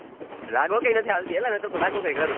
લાગવગ નથી હાલતિ અલા નહિતર લાગવગ કરૂ